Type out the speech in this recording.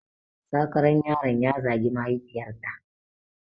Sakaran yaron ya zagi mahaifiyarta